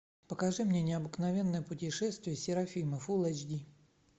покажи мне необыкновенное путешествие серафимы фулл эйч ди